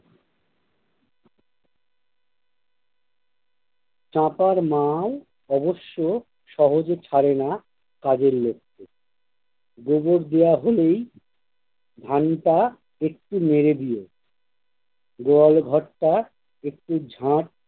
ছাপার মাল অবশ্য সহজে ছারে না তাদের লক্ষ্য গোবর দেয়া হলেই, ভানিতা একটু নেড়ে দিয়ে গোয়ালঘরটা একটু ঝাড়